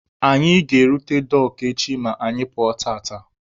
Anyị ga-erute Dọọkụ echi ma anyị pụọ tata.